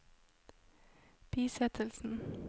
bisettelsen